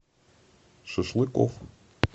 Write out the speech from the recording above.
шашлыкоф